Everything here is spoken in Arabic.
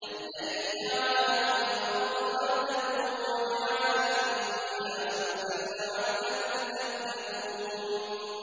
الَّذِي جَعَلَ لَكُمُ الْأَرْضَ مَهْدًا وَجَعَلَ لَكُمْ فِيهَا سُبُلًا لَّعَلَّكُمْ تَهْتَدُونَ